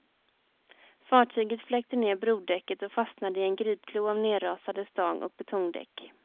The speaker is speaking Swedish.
Fartyget fläkte ner brodäcket och fastnade i en gripklo av nerrasade stag och betongdäck.